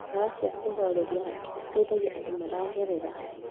Ndawa cia kũhoreria hakiri citeithagia andũ maragerera